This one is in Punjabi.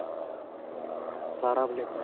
ਸਾਰਾ available ਹੈ.